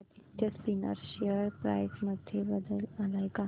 Aditya Spinners share price मध्ये बदल आलाय का